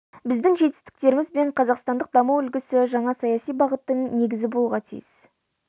біздің жетістіктеріміз бен қазақстандық даму үлгісі жаңа саяси бағыттың негізі болуға тиіс